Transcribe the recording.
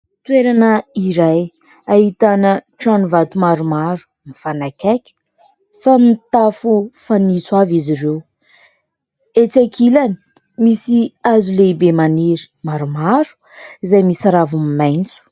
Toerana iray ahitana trano vato maromaro mifanakaiky samy mitafo fanitso avy izy ireo. Etsỳ ankilany misy hazo lehibe maniry maromaro izay misy raviny maitso.